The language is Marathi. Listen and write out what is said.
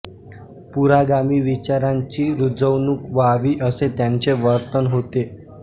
पुरोगामी विचारांची रुजवणूक व्हावी असे त्यांचे वर्तन होते